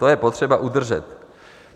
To je potřeba udržet.